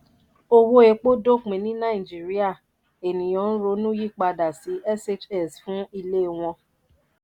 owó epo dópin ní naijirìa ènìyàn ń ronú yí padà sí shs fún ilé wọn.